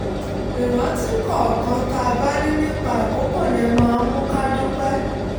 ìrántí kọ̀ọ̀kan tá a bá ní nípa àkókò yẹn máa ń mú ká dúpẹ́